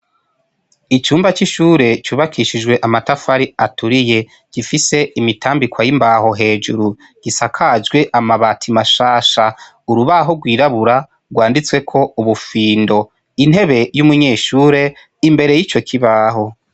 Icumba c'ishure cubakishijwe amatafari aturiye gifise imitambikwa y'imbaho hejuru gisakajwe amabati mashasha urubaho rwirabura rwanditsweko ubufindo intebe y'umunyeshure imbere y'ico kibaho.